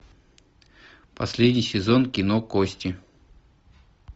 последний сезон кино кости